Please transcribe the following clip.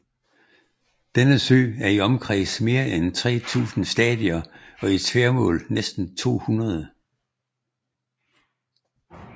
Denne sø er i omkreds mere end tre tusinde stadier og i tværmål næsten to hundrede